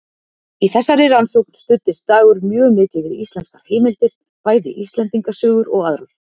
Í þessari rannsókn studdist Dagur mjög mikið við íslenskar heimildir, bæði Íslendingasögur og aðrar.